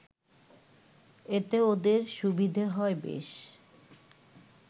এতে ওদের সুবিধে হয় বেশ